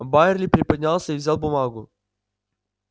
байерли приподнялся и взял бумагу